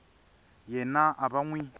yena a va n wi